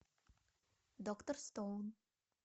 доктор стоун